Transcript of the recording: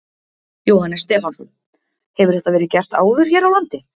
Jóhannes Stefánsson: Hefur þetta verið gert áður hér á landi?